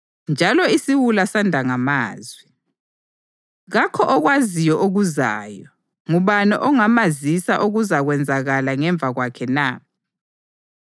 njalo isiwula sanda ngamazwi. Kakho okwaziyo okuzayo ngubani ongamazisa okuzakwenzakala ngemva kwakhe na?